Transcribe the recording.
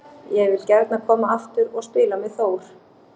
Ég vil gjarnan koma aftur og spila með Þór.